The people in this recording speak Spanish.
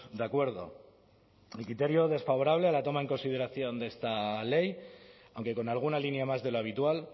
de acuerdo el criterio desfavorable a la toma en consideración de esta ley aunque con alguna línea más de lo habitual